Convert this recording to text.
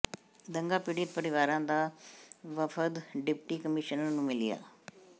ਦੰਗਾ ਪੀੜਿਤ ਪਰਿਵਾਰਾਂ ਦਾ ਵਫ਼ਦ ਡਿਪਟੀ ਕਮਿਸ਼ਨਰ ਨੂੰ ਮਿਲਿਆ